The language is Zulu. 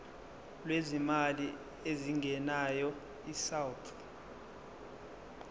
lwezimali ezingenayo isouth